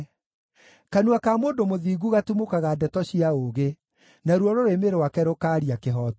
Kanua ka mũndũ mũthingu gatumũkaga ndeto cia ũũgĩ, naruo rũrĩmĩ rwake rũkaaria kĩhooto.